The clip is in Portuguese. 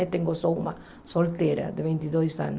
Eu tenho só uma solteira de vinte e dois anos.